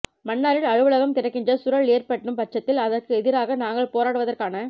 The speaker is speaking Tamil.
மன்னாரில் அலுவலகம் திறக்கின்ற சூழல் ஏற்படும் பட்சத்தில் அதற்கு எதிராக நாங்கள் போராடுவதற்கான